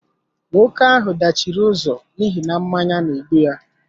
Nwoke ahụ dachiri ụzọ n'ihi na mmanya N'egbu ya